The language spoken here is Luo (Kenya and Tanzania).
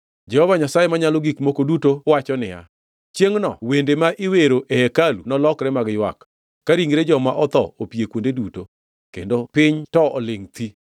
Jehova Nyasaye Manyalo Gik Moko Duto wacho niya, “Chiengʼno wende ma iwero e hekalu nolokre mag ywak, ka ringre joma otho opie kuonde duto, kendo piny to olingʼ thi!”